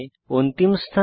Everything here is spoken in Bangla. অন্তিম স্থানে